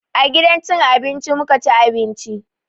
A gidan cin abinci muka ci abinci.